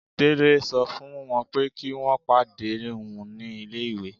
Délé sọ fún wọ́n pé kí wọ́n pàdé òun ní ilé-ìwé.